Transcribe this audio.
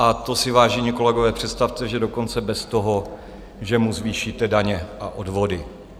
A to si, vážení kolegové, představte, že dokonce bez toho, že mu zvýšíte daně a odvody.